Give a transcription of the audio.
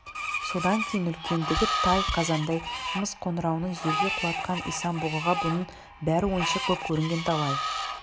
содан кейін үлкендігі тай қазандай мыс қоңырауын жерге құлатқан исан-бұғыға бұның бәрі ойыншық боп көрінген талай